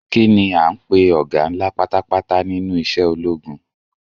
Kini a ń pe ọga ńlá pátápátá nínú isẹ́ ológun?